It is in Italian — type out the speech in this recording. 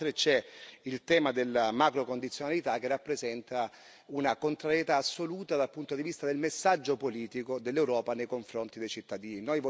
Inoltre, c'è il tema della macrocondizionalità, che rappresenta una contrarietà assoluta dal punto di vista del messaggio politico dell'Europa nei confronti dei cittadini.